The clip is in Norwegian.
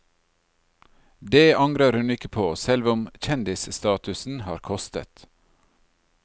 Det angrer hun ikke på, selv om kjendisstatusen har kostet.